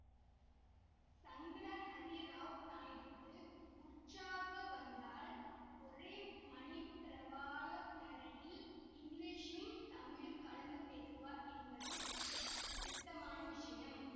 சங்கடஹரிராவ் நாயுடுவுக்கு உற்சாகம் வந்தால் ஒரே மணிப்பிரவாள நடையில் இங்கிலீஷும் தமிழும் கலந்து பேசுவார் என்பது பிரசித்தமான விஷயம்